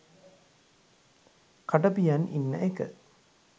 කට පියන් ඉන්න එක